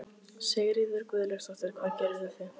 Sigríður Guðlaugsdóttir: Hvað gerðuð þið?